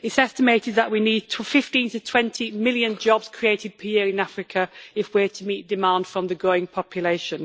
It's estimated that we need 15 to 20 million jobs created per year in Africa if we are to meet demand from the growing population.